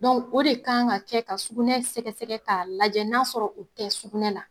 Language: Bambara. o de kan ka kɛ ka sugunɛ sɛgɛsɛgɛ k'a lajɛ n'a sɔrɔ o tɛ sugunɛ la.